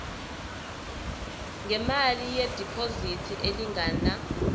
ngemali yediphozithi elingana